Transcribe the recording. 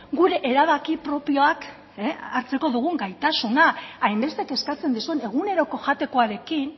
gure erabaki propioak hartzek dugun gaitasuna hainbeste kezkatzen dizuen eguneroko jatekoarekin